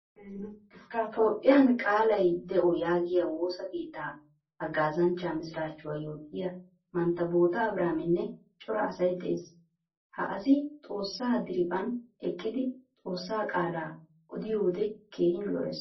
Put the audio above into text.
Toopphphiyaan qaalay de'o yaagiyo woosaa keettaa haggaazzanchcha misirachchuwaa yootiyaa mantta boota abiraminne cora asay de'ees. Ha asi xoossaa diriphphan eqqidi xoossaa qaalaa oddiyode keehin lo'ees.